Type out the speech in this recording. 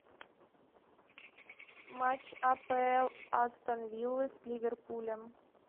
матч апл астон виллы с ливерпулем